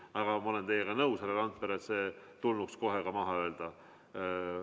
Aga ma olen teiega nõus, härra Randpere, et see tulnuks kohe maha öelda.